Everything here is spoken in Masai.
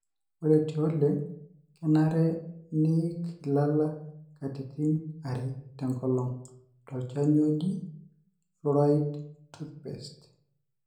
Ore tioleng, kenare niik ilala katitin are tenkolong tolchani oji(fluoride toothpaste).